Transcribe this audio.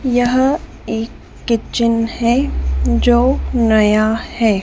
यहां एक किचन है जो नया है।